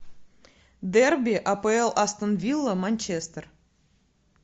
дерби апл астон вилла манчестер